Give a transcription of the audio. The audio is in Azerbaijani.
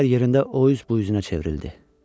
Bir qədər yerində o üz bu üzünə çevrildi.